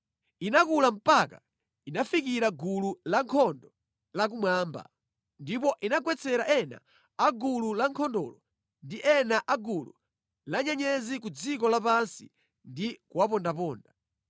Inakula mpaka inafikira gulu lankhondo la kumwamba, ndipo inagwetsera ena a gulu lankhondolo ndi ena a gulu la nyenyezi ku dziko lapansi ndi kuwapondaponda.